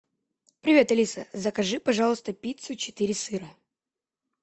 привет алиса закажи пожалуйста пиццу четыре сыра